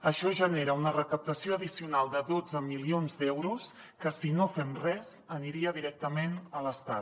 això genera una recaptació addicional de dotze milions d’euros que si no fem res aniria directament a l’estat